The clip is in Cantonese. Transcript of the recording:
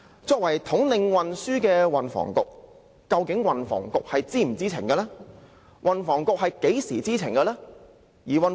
作為統領運輸事務的運輸及房屋局，究竟是否知情呢？